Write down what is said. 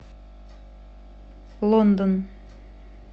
лондон